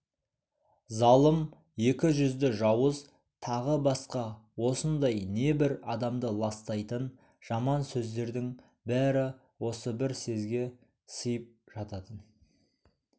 залым екі жүзді жауыз тағы басқа осындай небір адамды ластайтын жаман сөздердің бәрі осы бір сезге сыйып жататын